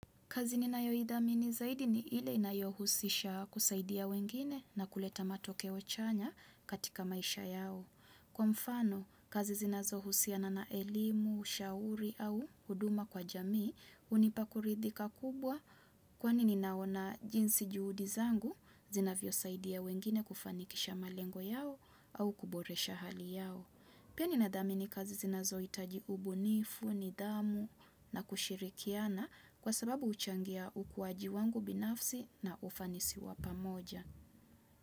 Kazi ninayo idhamini zaidi ni ile inayohusisha kusaidia wengine na kuleta matokeo chanya katika maisha yao. Kwa mfano, kazi zinazo husiana na elimu, shauri au huduma kwa jamii, hunipa kuridhika kubwa kwani ninaona jinsi juhudi zangu, zinavyo saidia wengine kufanikisha malengo yao au kuboresha hali yao. Pia ni nadhami ni kazi zinazo hitaji ubunifu, nidhamu na kushirikiana kwa sababu huchangia ukuaji wangu binafsi na ufanisi wapamoja.